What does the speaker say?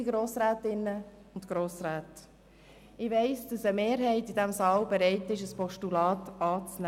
Liebe Grossrätinnen und Grossräte, ich weiss, dass eine Mehrheit in diesem Saal dazu bereit wäre, ein Postulat anzunehmen.